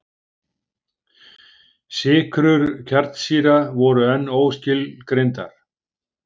Sykrur kjarnsýra voru enn óskilgreindar.